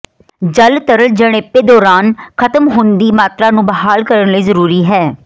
ਜਲ ਤਰਲ ਜਣੇਪੇ ਦੌਰਾਨ ਖਤਮ ਹੋ ਦੀ ਮਾਤਰਾ ਨੂੰ ਬਹਾਲ ਕਰਨ ਲਈ ਜ਼ਰੂਰੀ ਹੈ